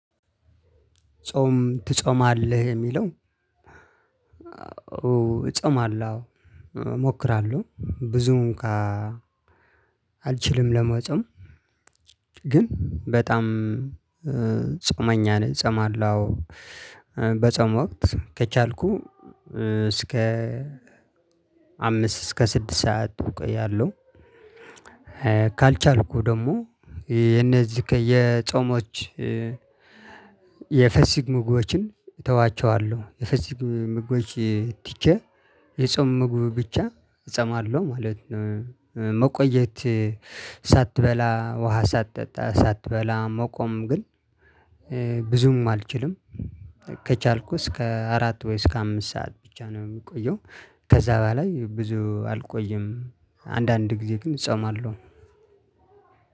ጾም ትፆማለህ የሚለው? እጾማለሁ አው እሞክራለሁ ብዙውን ካ አልችልም ለመፆም ግን በጣም ጾመኛ ነኝ። ጸማላው በጸሙ ወቅት ከቻልኩ እስከ አምስት እስከ ስድስት ሰዓት እውቀያለሁ። ካልቻልኩ ደግሞ የነዚህ የጾሞች የፍስግ ምግቦችን እተዋቸዋለው የፍስግ ምግቦች ትቼ የጾም ምግብ ብቻ እጾማለሁ ማለት ነው። መቆየት ሳትበላ ውሃ ሳትጠጣ ሳትበላ መቆም ግን እ ብዙም አልችልም። ከቻልኩ እስከ አራት ወይ እስከ አምስት ሰዓት ብቻ ነው የምቆየው። ከዛ በላይ ብዙ አልቆየም። አንዳንድ ጊዜ ግን እጾማለሁ።